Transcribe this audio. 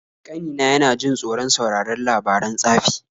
Ƙanina yana jin tsoron sauraron labaran tsafi.